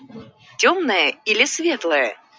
тёмная или светлая